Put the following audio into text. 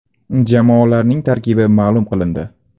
Jamoalarning tarkibi ma’lum qilindi.